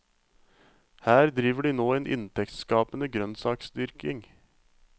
Her driver de nå en inntektsskapende grønnsaksdyrking.